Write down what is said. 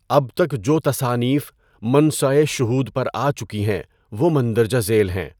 اب تک جو تصانیف منصۂ شہود پر آ چکیں ہیں وہ مندرجہ ذیل ہیں۔